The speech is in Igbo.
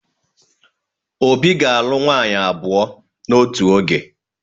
Obi ga-alụ nwaanyị abụọ n'otu oge.